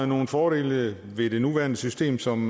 nogle fordele ved det nuværende system som